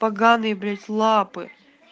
поганые блять лапы